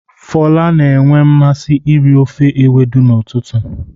Fola na-enwe mmasị iri ofe ewedu n'ụtụtụ.